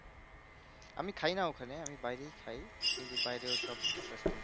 আমি খাইনা ওখানে আমি বাইরেই খাই কিন্তু বাইরে ওসব অসুস্থ